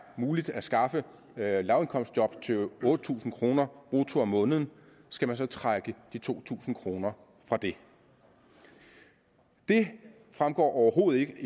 muligt at skaffe lavindkomstjob til otte tusind kroner brutto om måneden skal man så trække de to tusind kroner fra det det fremgår overhovedet ikke